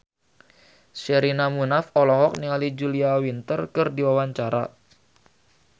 Sherina Munaf olohok ningali Julia Winter keur diwawancara